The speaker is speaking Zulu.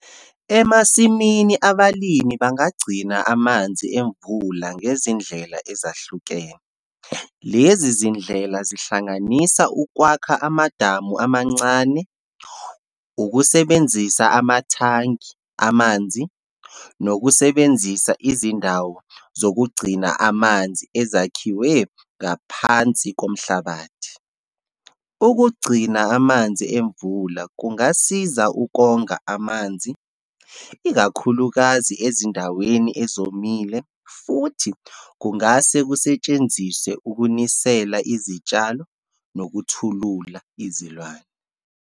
Emasimini, abalimi bangagcina amanzi emvula ngezindlela ezahlukene. Lezi zindlela zihlanganisa ukwakha amadamu amancane, ukusebenzisa amathangi amanzi, nokusebenzisa izindawo zokugcina amanzi ezakhiwe ngaphansi komhlabathi. Ukugcina amanzi emvula kungasiza ukonga amanzi, ikakhulukazi ezindaweni ezomile, futhi kungase kusetshenziswe ukunisela izitshalo nokuthulula izilwane.